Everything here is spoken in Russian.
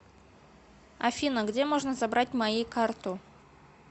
афина где можно забрать мои карту